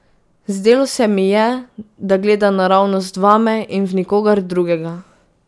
Zdelo se mi je, da gleda naravnost vame in v nikogar drugega.